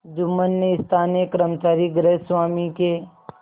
जुम्मन ने स्थानीय कर्मचारीगृहस्वामीके